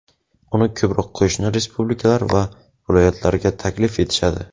Uni ko‘proq qo‘shni respublikalar va viloyatlarga taklif etishadi.